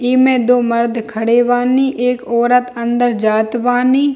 इ मे दो मर्द खड़े बानी एक औरत अंदर जात बानी।